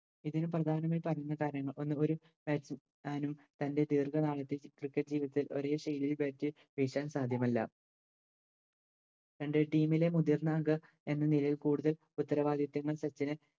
ഇതിനു പ്രധാനമായി പറഞ്ഞ കാര്യങ്ങൾ ഒന്ന് ഒര് Bat Man ഉം തൻറെ ദീർഘകാലത്തേക്ക് Cricket ജീവിതത്തിൽ ഒരേ ശൈലിയിൽ Bat വീശാൻ സാധ്യമല്ല രണ്ട് Team ലെ മുതിർന്ന അംഗം എന്നനിലയിൽ കൂടുതൽ ഉത്തരവാദിത്തങ്ങൾ സച്ചിനെ